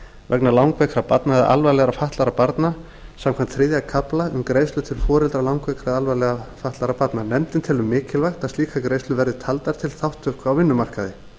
vegna langveikra eða alvarlega fatlaðra barna samkvæmt þriðja kafla laga um greiðslur til foreldra langveikra eða alvarlega fatlaðra barna nefndin telur mikilvægt að slíkar greiðslur verði taldar til þátttöku á vinnumarkaði